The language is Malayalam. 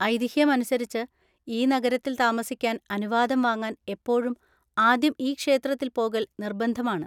ഐതിഹ്യം അനുസരിച്ച് ഈ നഗരത്തിൽ താമസിക്കാൻ അനുവാദം വാങ്ങാൻ എപ്പോഴും ആദ്യം ഈ ക്ഷേത്രത്തിൽ പോകൽ നിർബന്ധമാണ്.